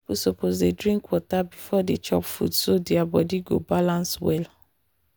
people suppose dey drink water beforedey chop food so their body go balance well.